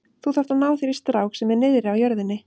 Þú þarft að ná þér í strák sem er niðri á jörðinni.